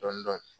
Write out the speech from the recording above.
Dɔɔnin dɔɔnin